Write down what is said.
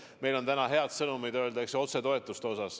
Meil on täna siiski öelda head sõnumid, mis puudutavad otsetoetusi.